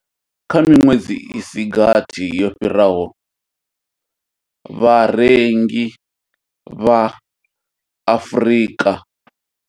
Kha miṅwedzi i si gathi yo fhiraho, vharengi vha Afrika.